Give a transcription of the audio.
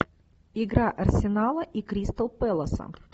игра арсенала и кристал пэласа